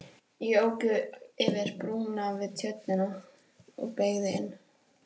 Ég ók yfir brúna við tjörnina og beygði inn